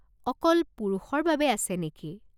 অকল পুৰুষৰ বাবে আছে নেকি?